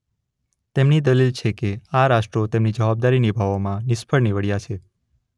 તેમની દલીલ છે કે આ રાષ્ટ્રો તેમની જવાબદારી નિભાવવામાં નિષ્ફળ નિવડ્યાં છે.